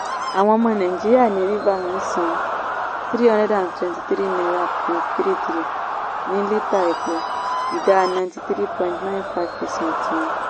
àwọn ọmọ nàìjíríà ní rivers ń san three hundred and twenty three point thirty three ní lítà epo ìdá ninety three point nine five percnt wọn.